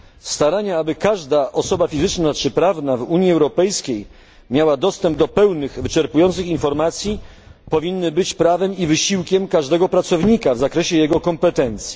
Starania, aby każda osoba fizyczna czy prawna w Unii Europejskiej miała dostęp do pełnych, wyczerpujących informacji powinny być prawem i wysiłkiem każdego pracownika w zakresie jego kompetencji.